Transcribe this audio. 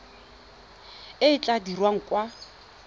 e e tla dirwang kwa